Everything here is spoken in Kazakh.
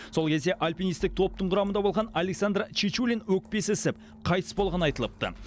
сол кезде альпинистік топтың құрамында болған александр чечулин өкпесі ісіп қайтыс болғаны айтылыпты